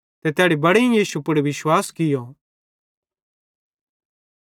ते तैड़ी बड़ेईं यीशु पुड़ विश्वास कियो